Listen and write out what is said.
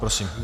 Prosím.